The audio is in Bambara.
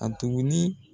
A tuguni